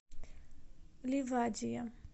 ливадия